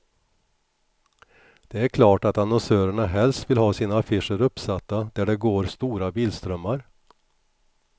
Det är klart att annonsörerna helst vill ha sina affischer uppsatta där det går stora bilströmmar.